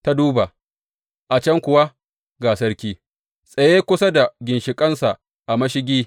Ta duba, a can kuwa ga sarki, tsaye kusa da ginshiƙinsa a mashigi.